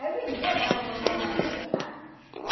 Aí vendia, dava para minhas amiga, sabe?